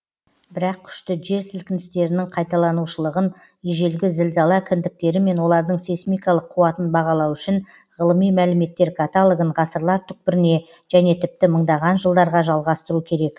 бірақ күшті жер сілкіністерінің қайталанушылығын ежелгі зілзала кіндіктері мен олардың сейсмикалық қуатын бағалау үшін ғылыми мәліметтер каталогын ғасырлар түпкіріне және тіпті мыңдаған жылдарға жалғастыру керек